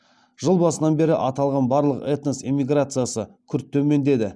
жыл басынан бері аталған барлық этнос эмиграциясы күрт төмендеді